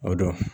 O don